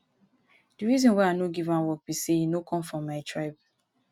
the reason why i no give am work be say e no come from my tribe